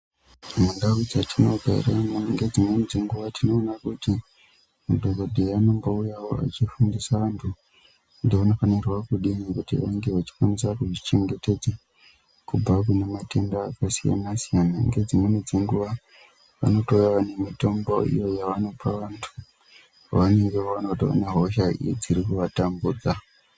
Mundau dzetinogara ngedzimweni dzenguwa tinoona kuti madhokodheya anombouyawo achifundisa vanthu kuti vanofanirwa kudini kuti vange vachikwanisa kuzvichengetedza kubva kune matenda akasiyana siyana. Ngedzimweni dzenguwa vanotouya vane mitombo iyo yavanopa vanthu vaanenge vaona kuti vane hosha dziri kuvatambudza.